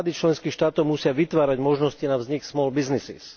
Vlády členských štátov musia vytvárať možnosti na vznik small businesses